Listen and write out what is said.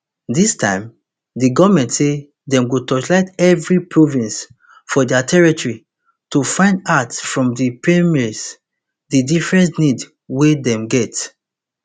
dis time di goment say dem go torchlight evri province for dia territory to find out from di premiers di different need wey dem get